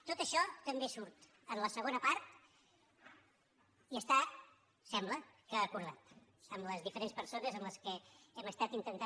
tot això també surt en la segona part i està sembla acordat amb les diferents persones amb les quals hem estat intentant